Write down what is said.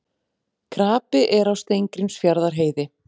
Krapi er á Steingrímsfjarðarheiði